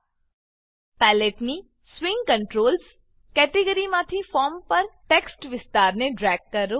palette palette ની swing controls swing controls કેટેગરીમાંથી form પર ટેક્સ્ટ વિસ્તારને ડ્રેગ કરો